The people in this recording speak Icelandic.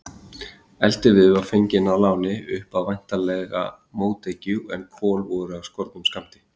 Eldiviður var fenginn að láni, upp á væntanlega mótekju, en kol voru af skornum skammti.